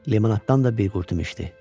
Limonaddan da bir qurtum içdi.